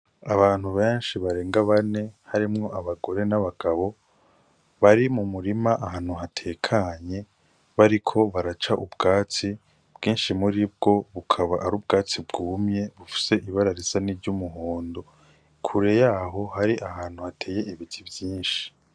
Abantu benshi barenga bane, harimwo abagore n'abagabo bari mu murima ahantu hatekanye bariko baraca ubwatsi, bwinshi muri bwo bukaba ari ubwatsi bwumye bufise ibara risa n'iryumuhondo, kure yaho hari ahantu hateye ibiti vyinshi.